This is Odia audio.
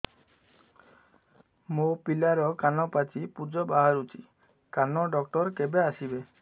ମୋ ପିଲାର କାନ ପାଚି ପୂଜ ବାହାରୁଚି କାନ ଡକ୍ଟର କେବେ ଆସିବେ